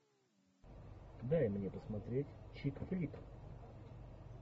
дай мне посмотреть чик флик